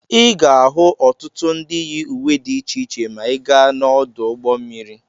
Ị ga-ahụ ọtụtụ ndị yi uwe dị iche iche ma ị gaa n'ọdụ ụgbọ mmiri.